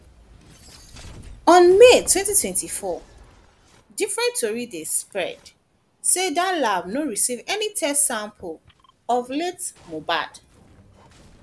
on may 2024 different tori den spread say dia lab no receive any test sample of of late mohbad